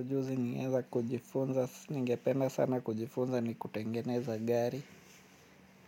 Ujuzi ningeweza kujifunza, ningependa sana kujifunza ni kutengeneza gari.